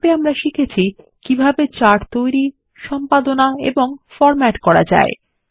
সংক্ষেপে আমরা শিখেছি কিভাবেচার্ট তৈরি সম্পাদনা এবং ফরম্যাট করা যায়